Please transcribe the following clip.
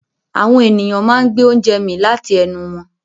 Àwọn ènìyàn máa ń gbé oúnjẹ mì láti ẹnu wọn.